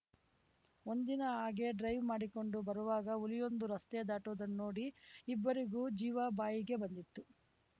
ಒಂದಿನ ಹಾಗೆ ಡ್ರೈವ್‌ ಮಾಡಿಕೊಂಡು ಬರುವಾಗ ಹುಲಿಯೊಂದು ರಸ್ತೆ ದಾಟುವುದನ್ನ ನೋಡಿ ಇಬ್ಬರಿಗೂ ಜೀವ ಬಾಯಿಗೆ ಬಂದಿತ್ತು